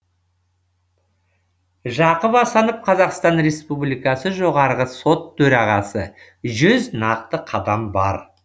жақып асанов қазақстан республикасы жоғарғы сот төрағасы жүз нақты қадам бар